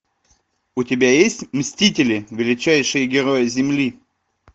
у тебя есть мстители величайшие герои земли